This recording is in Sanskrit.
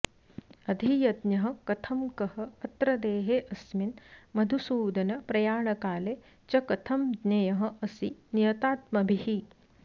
अधियज्ञः कथं कः अत्र देहे अस्मिन् मधुसूदन प्रयाणकाले च कथं ज्ञेयः असि नियतात्मभिः